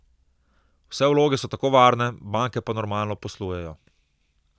Vse vloge so tako varne, banke pa normalno poslujejo.